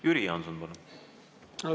Jüri Jaanson, palun!